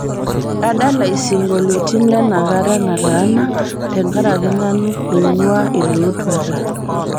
adala isingolioitin lenakata nataana tenkaraki nanu oing'uaa ilootuata